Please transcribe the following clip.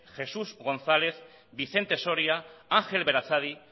jesús gonzález vicente soria ángel berazadi